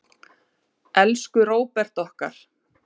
Elsku Róbert okkar.